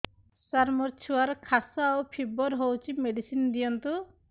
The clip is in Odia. ସାର ମୋର ଛୁଆର ଖାସ ଓ ଫିବର ହଉଚି ମେଡିସିନ ଦିଅନ୍ତୁ